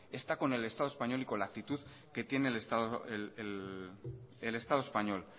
está con el estado español y con la actitud que tiene el estado español